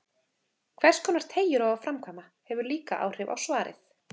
Hverskonar teygjur á að framkvæma, hefur líka áhrif á svarið.